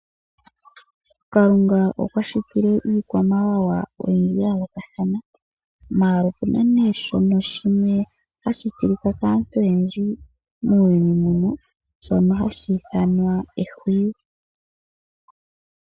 Kalunga okwa shitile iikwamawawa oyindji ya yoolokathana ashike opuna nee shono shimwe hashi tilika kaantu oyendji muuyuni muno, shono hashi ithanwa Ehwiyu.